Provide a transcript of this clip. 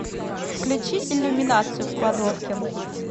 включи иллюминацию в кладовке